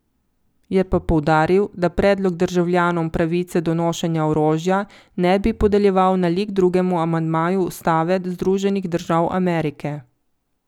Je pa poudaril, da predlog državljanom pravice do nošenja orožja ne bi podeljeval nalik drugemu amandmaju ustave Združenih držav Amerike.